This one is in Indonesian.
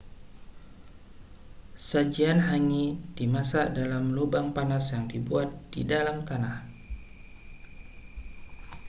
sajian hangi dimasak di dalam lubang panas yang dibuat di dalam tanah